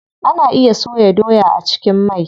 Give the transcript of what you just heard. Ana iya soya doya a cikin mai.